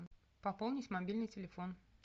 пополнить мобильный телефон